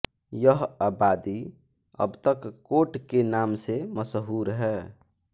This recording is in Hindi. यह आबादी अब तक कोट के नाम से मशहूर है